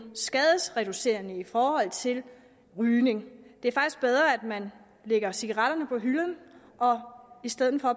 skadesreducerende i forhold til rygning det er faktisk bedre at man lægger cigaretterne på hylden og i stedet for